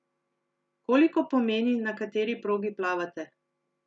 Koliko pomeni, na kateri progi plavate?